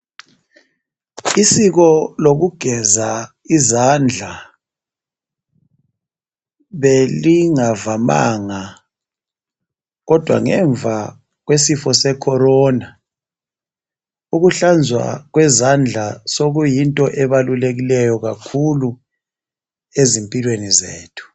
Isiko lokugeza izandla belingavamanga kodwa ngemva kwesifo se Corona ukuhlanzwa kwezandla sokuyinto ebalulekileyo kakhulu ezimpilweni zethu.